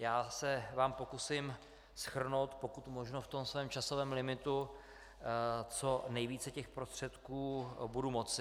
Já se vám pokusím shrnout pokud možno v tom svém časovém limitu, co nejvíce těch prostředků budu moci.